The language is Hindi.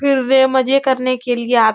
फिर वे मजे करने के लिए आत --